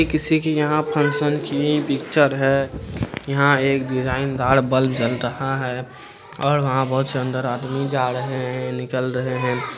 यहाँ किसी के यहाँ फंग्सन की पिच्चर है यहाँ एक डिज़ाइन डार बल्ब जल रहा है और यहाँ बहुत सुंदर आदमी जा रहे निकाल रहे है।